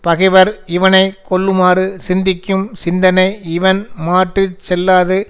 பகைவர் இவனை கொல்லுமாறு சிந்திக்கும் சிந்தனை இவன் மாட்டு செல்லாது